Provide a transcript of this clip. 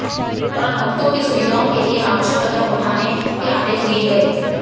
इस दौरान भक्तों के सुविधाओं के लिए आवश्यक कदम उठाने के आदेश दिये